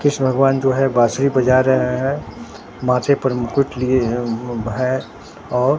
कृष्ण भगवान जो है बांसुरी बजा रहे हैं माथे पर मुकुट लिए हैं और।